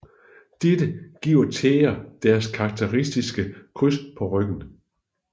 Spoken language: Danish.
Dette giver tæger deres karakteristiske kryds på ryggen